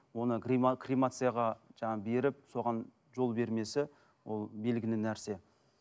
оны кремацияға жаңағы беріп соған жол бермесі ол белгілі нәрсе